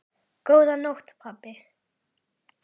Góða nótt pabbi.